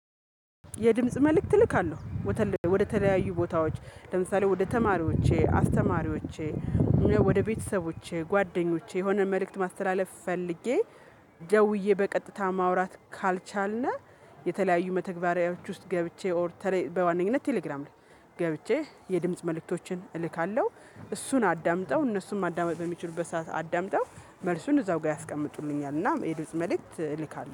የድምጽ መልእክት እልካለሁ። ወደ ተለያዩ ቦታዎች ለምሳሌ ወደ ተማሪዎቼ አስተማሪዎቼ እ ወደ ቤተሰቦቼ ጓደኞቼ የሆነ መልእክት ማስተላለፍ ፈልጌ። ደውዬ በቀጥታ ማውራት ካልቻልነህ የተለያዩ መተግበሪያዎች ውስጥ ገብቼ ኦር በዋነኝነት ቴሌግራም ላይ ገብቼ የድምጽ መልእክቶችን እልካለሁ። እሱን አዳምጠው እነሱን ማዳመጥ በሚችሉበት ሰዓት አዳምጠው መልሱን እዛው ጋር ያስቀምጡልኛል። እና ድምጽ መልእክት እልካለሁ